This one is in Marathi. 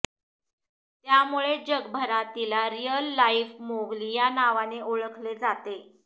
त्यामुळेच जगभरात तिला रियल लाईफ मोगली या नावाने ओळखले जाते